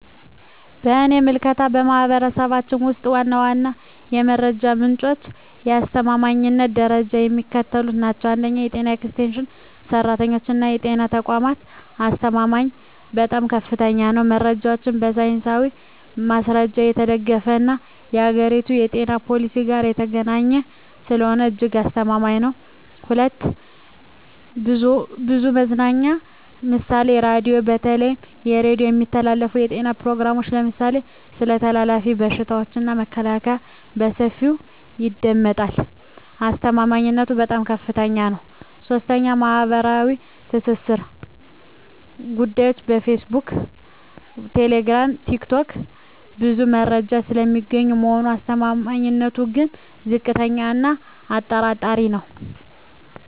በእኔ ምልከታ፣ በማኅበረሰባችን ውስጥ ዋና ዋናዎቹ የመረጃ ምንጮችና የአስተማማኝነት ደረጃቸው የሚከተሉት ናቸው፦ 1. የጤና ኤክስቴንሽን ሠራተኞችና የጤና ተቋማት አስተማማኝነቱም በጣም ከፍተኛ ነው። መረጃው በሳይንሳዊ ማስረጃ የተደገፈና ከአገሪቱ የጤና ፖሊሲ ጋር የተገናኘ ስለሆነ እጅግ አስተማማኝ ነው። 2. ብዙኃን መገናኛ ምሳሌ ራዲዮ:- በተለይ በሬዲዮ የሚተላለፉ የጤና ፕሮግራሞች (ለምሳሌ ስለ ተላላፊ በሽታዎች መከላከያ) በሰፊው ይደመጣሉ። አስተማማኝነቱም በጣም ከፍታኛ ነው። 3. ማኅበራዊ ትስስር ገጾች (ፌስቡክ፣ ቴሌግራም፣ ቲክቶክ) ብዙ መረጃ የሚገኝ ቢሆንም አስተማማኝነቱ ግን ዝቅተኛ እና አጠራጣሪ ነው።